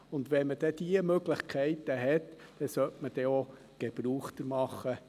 Und wenn man dann diese Möglichkeit hat, sollte man auch davon Gebrauch machen.